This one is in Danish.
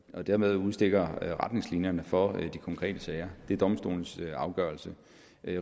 og dermed udstikker retningslinjerne for de konkrete sager det er domstolenes afgørelse